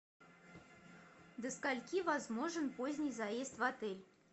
до скольки возможен поздний заезд в отель